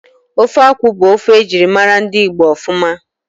Ofe akwụ bụ ofe ejirimara ndị Igbo ofuma